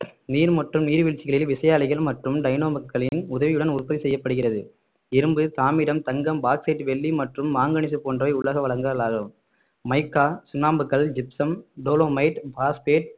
நீர் மற்றும் நீர்வீழ்ச்சிகளில் விசையாழிகள் மற்றும் டைனமோக்களின் உதவியுடன் உற்பத்தி செய்யப்படுகிறது இரும்பு தாமிரம் தங்கம் பாக்ஸைட் வெள்ளி மற்றும் மாங்கனீசு போன்றவை உலோக வளங்கள் ஆகும் மைக்கா சுண்ணாம்புக்கல் ஜிப்சம் டோலமைட் பாஸ்பைட்